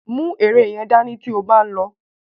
Mú ère yẹn dání tí ó bá ń lọ.